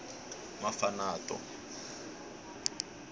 mafanato